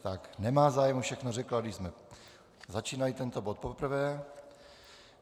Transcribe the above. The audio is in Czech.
Tak nemá zájem, všechno řekla, když jsme začínali tento bod poprvé.